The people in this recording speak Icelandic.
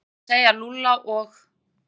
Hann var búinn að segja Lúlla og